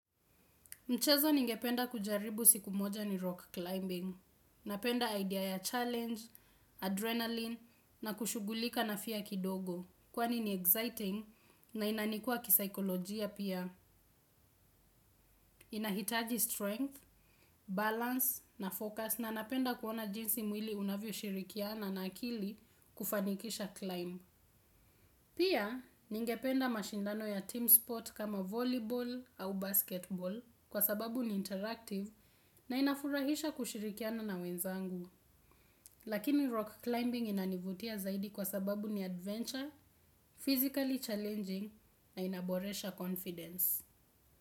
Mchezo ningependa kujaribu siku moja ni rock climbing, napenda idea ya challenge, adrenaline na kushughulika na fia kidogo kwani ni exciting na inanikua kisikolojia pia. Inahitaji strength, balance na focus na napenda kuona jinsi mwili unavyo shirikiana na akili kufanikisha climb. Pia, ningependa mashindano ya team sport kama volleyball au basketball kwa sababu ni interactive na inafurahisha kushirikiana na wenzangu. Lakini rock climbing inanivutia zaidi kwa sababu ni adventure, physically challenging na inaboresha confidence.